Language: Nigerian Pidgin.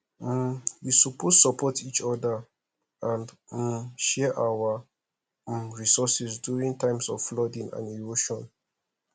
um we suppose support each other and um share our um resources during times of flooding and erosion